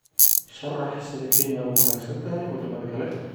sharax sida Kenya uga wanaagsan tahay wadamada kale